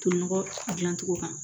To ɲɔgɔn dilan cogo kan